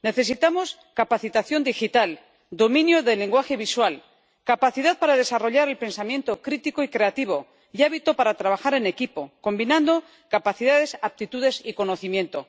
Necesitamos capacitación digital, dominio del lenguaje visual, capacidad para desarrollar el pensamiento crítico y creativo y hábito para trabajar en equipo, combinando capacidades, aptitudes y conocimiento.